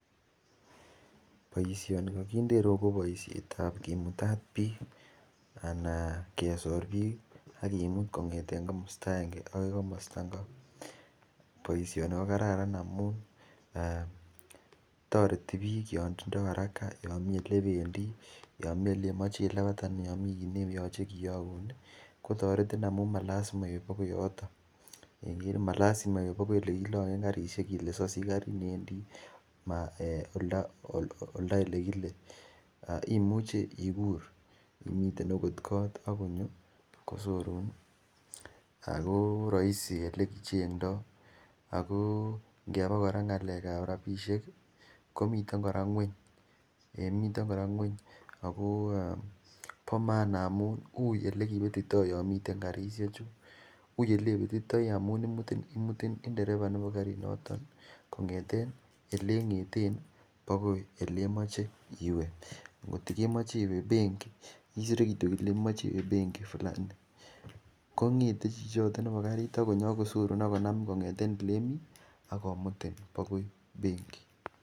Boisioni kokinde ireyu ko boisiet ab kimutat biik ana kesor biik ak kimut kong'eten komosta agenge akoi komosta ngo, boisioni ko kararan amun toreti biik yon tindo haraka yon mii elebendii yon mii eleyoche ilabat ana yon mi kiy nekoyoche kiyogun ih kotoretin amun malasima iib akoi yoton keiker ih malasima iib akoi yekilonyen karisiek ile siosich karit newendii um oldo elekile imuchi ikur imiten akot kot akonyo kosorun ih ako roisi elekichengdoo ako ngeba kora ng'alek ab rapisiek ih komiten kora ng'weny, miten kora ng'weny ako bo maana amun uui elekibetitoo yon miten karisiek chu uui elebetitoi amun imutin imutin nderepa nebo karinoton kong'eten eleng'eten ih akoi elemoche iwe ngot ih kemoche iwe benkit isire kityo ile kemoche iwe benkit fulani kong'ete chichoton nebo karit akosorun akonamin kong'eten elemii akomutin akoi benkit.